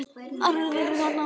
Aðrir eru þarna á milli.